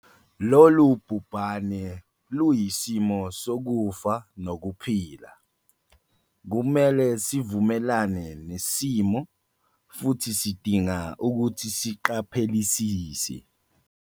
Lolu bhubhane luyisimo sokufa nokuphila. Kumele sivumelane nesimo futhi sidinga ukuthi siqaphelisise.